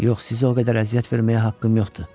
Yox, sizə o qədər əziyyət verməyə haqqım yoxdur.